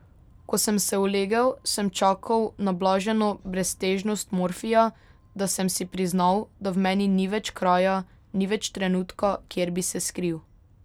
Ko sem se ulegel, sem čakal na blaženo breztežnost morfija, da sem si priznal, da v meni ni več kraja, ni več trenutka, kjer bi se skril.